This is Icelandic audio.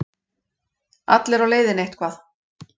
Allir á leiðinni eitthvað.